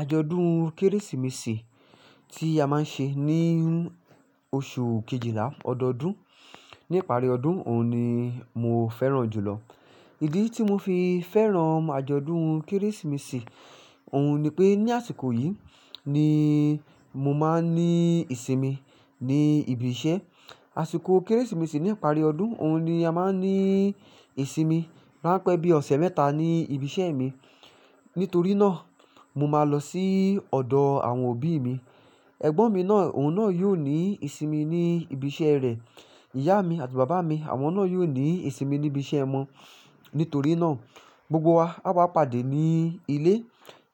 Àjọ̀dún Kérésìmesì tí a máa ń ṣe ní oṣù kejìlá ọdọọdún, ní ìparí ọdún, òun ni mo fẹ́ràn jù lọ. Ìdí tí mo fi fẹ́ràn àjọ̀dún Kérésìmesì, òun ni pé ní àsìkò yìí ni mo máa ń ní ìsinmi ní ibi iṣẹ́. Àsìkò Kérésìmesì ní ìparí ọdún, òun ni a máa ń ní ìsinmi. Máa pẹ́ bí ọ̀sẹ̀ mẹ́ta ní ibi iṣẹ́ mi. Nítorí náà, mo máa lọ sí ọ̀dọ̀ àwọn òbí mi. Ẹ̀gbọ́n mi náà, òun náà yóò ní ìsinmi ní ibi iṣẹ́ rẹ̀. Ìyá mi àti bàbá mi, àwọn náà yóò ní ìsinmi ní ibi iṣẹ́ wọn. Nítorí náà, gbogbo wa á wá pàdé ní ilé.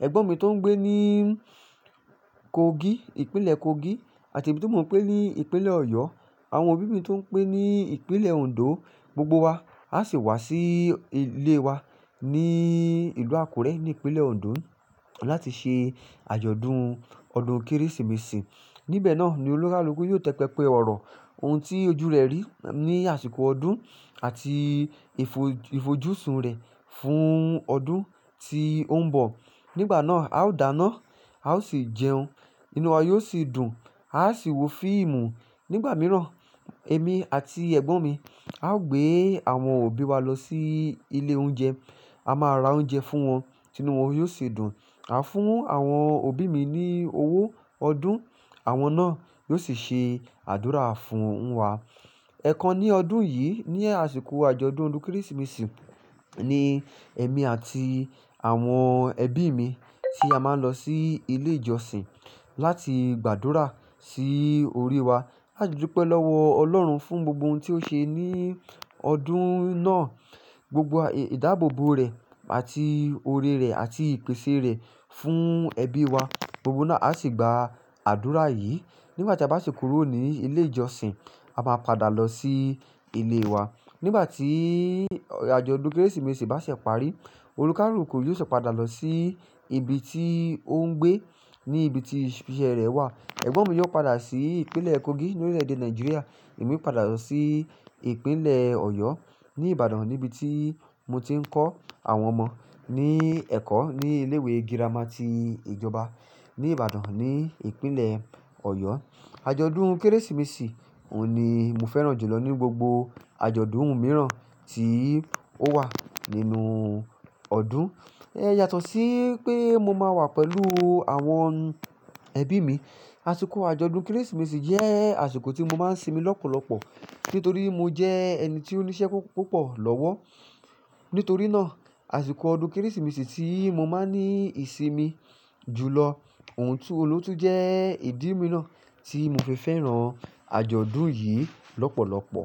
Ẹ̀gbọ́n mi tó ń gbé ní Kogi, ìpínlẹ̀ Kogi àti èmi tí móń gbé ní ìpínlẹ̀ Ọ̀yọ́, àwọn òbí mi tó ń gbé ní ìpínlẹ̀ Ondo, gbogbo wa á sì wá sí ilé wa ní ìlú Àkúrẹ́ ní ìpínlẹ̀ Ondo láti ṣe àjọ̀dún ọdún Kérésìmesì. Níbẹ̀ náà ni olùkárùn-kú yóò tẹpẹ́pe ọ̀rọ̀ ohun tí ojú rẹ̀ rí ní àsìkò ọdún àti ìfojú-sun rẹ̀ fún ọdún tí ó ń bọ̀. Nígbà náà, a ó dáná, a ó sì jẹun. Inú wa yóò sì dùn, a ó sì wo fíìmù. Nígbà mìíràn, èmi àti ẹ̀gbọ́n mi á gbé àwọn òbí wa lọ sí ilé oúnjẹ. A máa ra oúnjẹ fún wọn, tinu wọ́n yóò sì dùn. A fún àwọn òbí mi ní owó ọdún, àwọn náà yóò sì ṣe àdúrà fún wa. Èẹ̀kan ní ọdún yìí, ní àsìkò àjọ̀dún ọdún Kérésìmesì ni èmi àti àwọn ẹbí mi tí a máa ń lọ sí ilé ìjọsìn láti gbàdúrà sí orí wa. A dúpẹ́ lọ́wọ́ Ọlọ́run fún gbogbo ohun tí ó ṣe ní ọdún náà, gbogbo ìdáàbòbò rẹ̀ àti oré rẹ̀ àti ìpèsè rẹ̀ fún ẹbí wa. Gbogbo wa náà á sì gba àdúrà yìí. Nígbà tí a bá si kúrò ní ilé ìjọsìn, a máa padà lọ sí ilé wa. Nígbà tí àjọ̀dún Kérésìmesì bá ṣè parí, olùkálù-kú yóò sì padà lọ sí ibi tí ó ń gbé, ní ibi tí ibi iṣẹ́ rẹ̀ wà. Ẹ̀gbọ́n mi yóò padà sí ìpínlẹ̀ Kogi nínú orílẹ̀-èdè Nàìjíríà. Èmi ó padà lọ sí ìpínlẹ̀ Ọ̀yọ́ ní Ìbàdàn níbi tí mo ti ń kọ́ àwọn ọmọ ní ẹ̀kọ́ ní ilé ìwé girama ti ìjọba ní Ìbàdàn ní ìpínlẹ̀ Ọ̀yọ́. Àjọ̀dún Kérésìmesì òun ni mo fẹ́ràn jù lọ ní gbogbo àjọ̀dún mìíràn tí ó wà nínú ọdún. Ẹ́ yatọ̀ sí pé mo máa wà pẹ̀lú àwọn ẹbí mi. Àsìkò àjọ̀dún Kérésìmesì jẹ́ àsìkò tí mo máa ń sinmi lọ́pọ̀lọ́pọ̀ nítorí mo jẹ́ ẹni tí ó ní iṣẹ́ púpọ̀ lọ́wọ́. Nítorí náà, àsìkò ọdún Kérésìmesì tí mo máa ń ní ìsinmi jù lọ, òun ló tú jẹ́ ìdí mìíràn tí mo fi fẹ́ràn àjọ̀dún yìí lọ́pọ̀lọ́pọ̀.